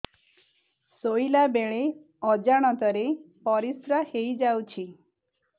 ଶୋଇଲା ବେଳେ ଅଜାଣତ ରେ ପରିସ୍ରା ହେଇଯାଉଛି